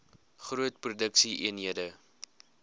groot produksie eenhede